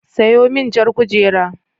Sayo min jar kujera.